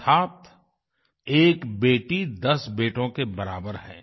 अर्थात एक बेटी दस बेटों के बराबर है